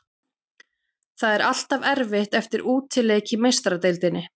Það er alltaf erfitt eftir útileik í Meistaradeildinni.